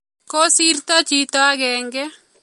Kosirto chito agenge